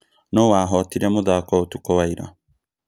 Nũũ wahotire mũthako ũtukũ wa ira?